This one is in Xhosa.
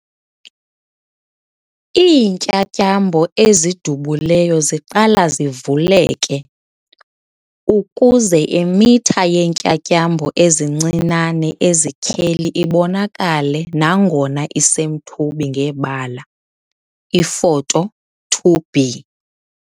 Iintyatyambo ezidubuleyo ziqala zivuleke, ukuze imitha yeentyatyambo ezincinane ezityheli ibonakale nangona isemthubi ngebala, Ifoto 2b.